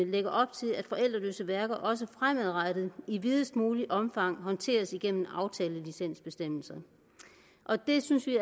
lægge op til at forældreløse værker også fremadrettet i videst muligt omfang håndteres igennem aftalelicensbestemmelserne det synes vi